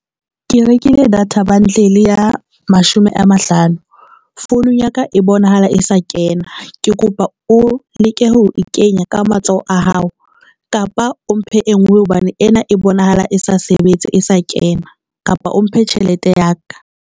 Ke rekile data bundle ya mashome a mahlano. Founung ya ka e bonahala e sa kena, ke kopa o leke ho kenya ka matsoho a hao kapa o mphe e ngwe hobane ena e bonahala e sa sebetse, e sa kena kapa o mphe tjhelete ya ka.